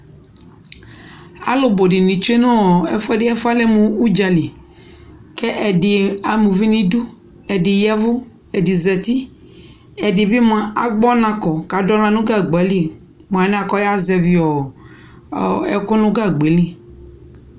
alo bo di ni tsue no ɛfuɛdi ɛfuɛ alɛ mo udzali ko ɛdi ama uvi no idu ɛdi yavo ɛdi zati ɛdibi moa agbɔ ɔna kɔ ko ado ala no gagba li mo anɛ ko ɔya zɛvi ɛko no gagba yɛ li